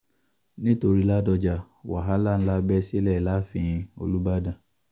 nítorí ládọ́ja wàhálà ńlá bẹ́ sílẹ̀ láàfin olùbàdàn